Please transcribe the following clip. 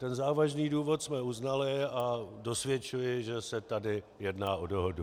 Ten závažný důvod jsme uznali a dosvědčuji, že se tady jedná o dohodu.